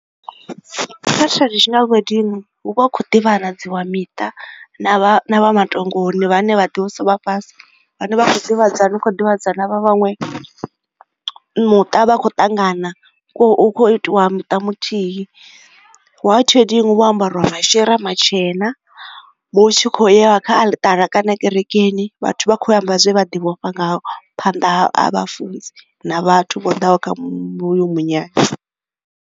Kha traditional wedding, hu vha hu khou ḓivhanadziwa miṱa na vha matongoni, vhane vha ḓivhesa vha fhasi. Vhane vha kho u ḓivhadzana, u kho u ḓivhadzana vha vhaṅwe muṱa vha khou ṱangana kho u itiwa muṱa muthihi. White wedding hu vha ho ambarwa mashira matshena, hu tshi kho u iwa kha aḽitara kana kerekeni, vhathu vha kho u ya u amba zwe vha ḓi vhofha ngaho phanḓa ha ha vhafunzi na vhathu vho ḓaho kha hoyu hoyo munyanya.